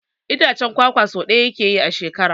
Itacen kwakwa so ɗaya yake yi a shekara.